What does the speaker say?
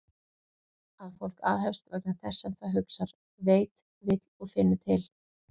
Að fólk aðhefst vegna þess sem það hugsar, veit, vill og finnur til?